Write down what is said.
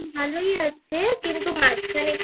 ভালই আছে তবে মাঝখানে একটু